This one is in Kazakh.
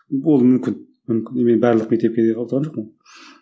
ол мүмкін мен барлық мектепте деп отырған жоқпын